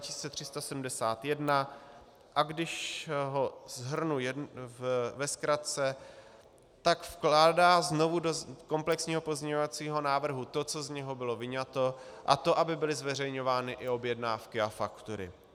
Když ho shrnu ve zkratce, tak vkládá znovu do komplexního pozměňovacího návrhu to, co z něho bylo vyňato, a to aby byly zveřejňovány i objednávky a faktury.